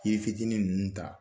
Yiri fitinin ninnu ta